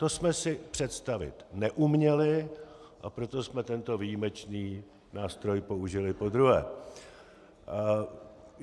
To jsme si představit neuměli, a proto jsme tento výjimečný nástroj použili podruhé.